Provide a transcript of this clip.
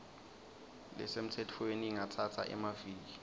lesemtsetfweni ingatsatsa emaviki